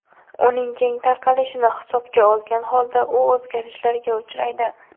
Uning keng tarqalishini hisobga olgan holda u o‘zgarishlarga uchraydi.